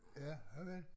Ja okay